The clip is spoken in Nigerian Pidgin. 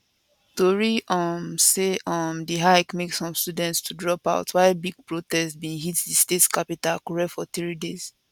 tori um say um di hike make some students to dropout while big protest bin hit di state capital akure for three days